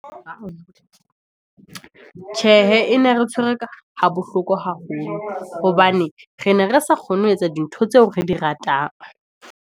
tjhe hee, e ne re tshwere ha bohloko haholo, hobane re ne re sa kgone ho etsa dintho tseo re di ratang.